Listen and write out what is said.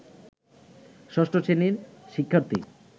ষষ্ঠ শ্রেণীর শিক্ষার্থী